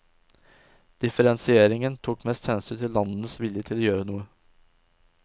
Differensieringen tok mest hensyn til landenes vilje til å gjøre noe.